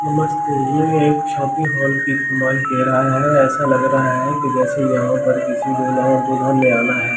नमस्ते ये एक शादी हाल के इस्तेमाल गे रहा है ऐसा लग रहा है जैसे यहाँ पर किसी दूल्हा और दुल्हन ने आना है ।